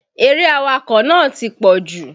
Eré awakọ̀ nàá ti pọ̀jù.